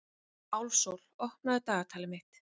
Álfsól, opnaðu dagatalið mitt.